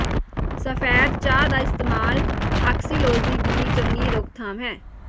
ਸਫੈਦ ਚਾਹ ਦਾ ਇਸਤੇਮਾਲ ਆਕਸੀਲੋਜੀ ਦੀ ਚੰਗੀ ਰੋਕਥਾਮ ਹੈ